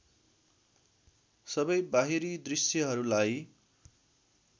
सबै बाहिरी दृश्यहरूलाई